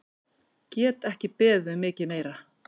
Get ekki beðið um mikið meira!